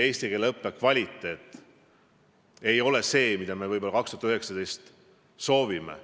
Eesti keele õppe kvaliteet ei ole see, mida me aastal 2019 soovime.